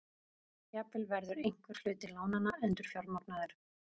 Jafnvel verður einhver hluti lánanna endurfjármagnaður